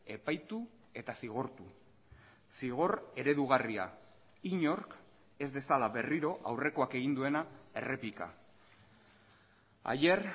epaitu eta zigortu zigor eredugarria inork ez dezala berriro aurrekoak egin duena errepika ayer